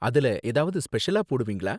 அதுல ஏதாவது ஸ்பெஷலா போடுவீங்களா?